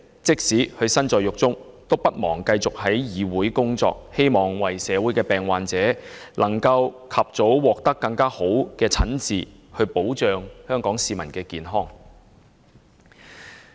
即使身在獄中，也不忘繼續議會的工作，為的是希望為病患者能盡早獲得較佳診治，讓香港市民的健康得到保障。